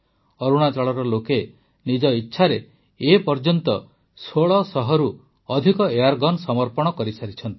ଅରୁଣାଚଳର ଲୋକେ ନିଜ ଇଚ୍ଛାରେ ଏ ପର୍ଯ୍ୟନ୍ତ ୧୬୦୦ରୁ ଅଧିକ ଏୟାରଗନ ସମର୍ପଣ କରିସାରିଛନ୍ତି